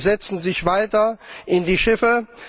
Sie setzen sich weiter in die Schiffe.